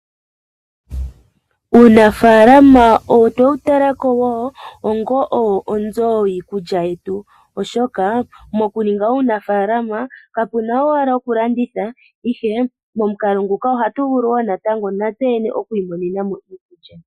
Uunafalama otwe wu talako woo, onga onzo yii kulya yetu oshoka moku ninga uunafalama ka puna owala oku landitha ihe momukalo nguka oha tu vulu wo natango natse yene oku I monena mo iikulya.